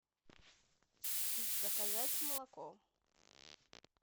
заказать молоко